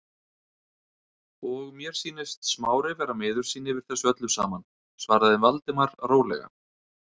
Og mér sýnist Smári vera miður sín yfir þessu öllu saman- svaraði Valdimar rólega.